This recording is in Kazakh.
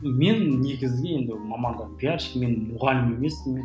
мен негізгі енді мамандығым пиарщик мен мұғалім емеспін